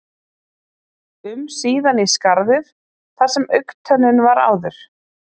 um síðan í skarðið þar sem augntönnin var áður.